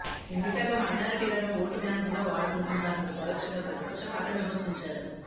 ఎన్నికల్లో మైనారిటీలను ఓటు బ్యాంకుగా వాడుకుంటున్నారంటూ పరోక్షంగా ప్రతిపక్ష పార్టీలను విమర్శించారు